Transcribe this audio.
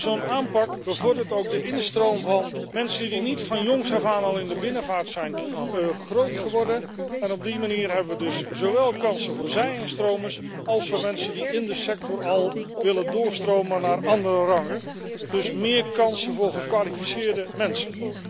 Zo'n aanpak bevordert ook de instroom van mensen die niet van jongs af aan al in de binnenvaart zijn groot geworden, en op die manier hebben we dus zowel kansen voor zij instromers als voor mensen die in de sector al willen doorstromen naar andere rangen, dus meer kansen voor gekwalificeerde mensen.